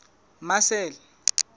marcel